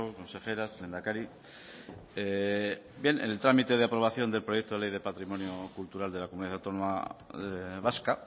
consejeras lehendakari bien en el trámite de aprobación del proyecto de ley de patrimonio cultural de la comunidad autónoma vasca